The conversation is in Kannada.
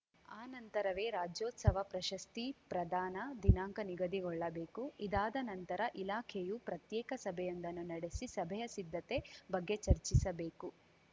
ಆ ನಂತರವೇ ರಾಜ್ಯೋತ್ಸವ ಪ್ರಶಸ್ತಿ ಪ್ರದಾನ ದಿನಾಂಕ ನಿಗದಿಗೊಳ್ಳಬೇಕು ಇದಾದ ನಂತರ ಇಲಾಖೆಯು ಪ್ರತ್ಯೇಕ ಸಭೆಯೊಂದನ್ನು ನಡೆಸಿ ಸಭೆಯ ಸಿದ್ಧತೆ ಬಗ್ಗೆ ಚರ್ಚಿಸಬೇಕು